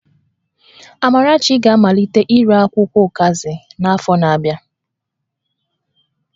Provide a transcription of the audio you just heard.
Amarachi ga-amalite ire akwụkwọ ụkazi n'afọ na-abịa